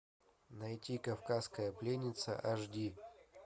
найти кавказская пленница аш ди